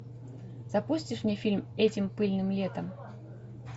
запустишь мне фильм этим пыльным летом